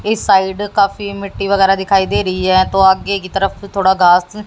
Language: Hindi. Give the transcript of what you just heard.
इस साइड काफी मिट्टी वगैरह दिखाई दे रही है तो आगे की तरफ से थोड़ा घास--